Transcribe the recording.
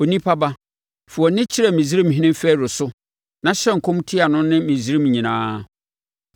“Onipa ba, fa wʼani kyerɛ Misraimhene Farao so na hyɛ nkɔm tia no ne Misraim nyinaa.